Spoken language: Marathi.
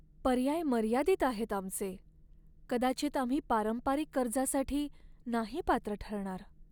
पर्याय मर्यादित आहेत आमचे! कदाचित आम्ही पारंपरिक कर्जासाठी नाही पात्र ठरणार.